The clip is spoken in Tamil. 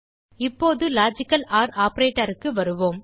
இப்போது லாஜிக்கல் ஒர் operatorக்கு வருவோம்